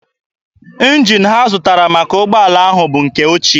Njin ahụ ha zụtara maka ụgbọala ahụ bụ nke ochie.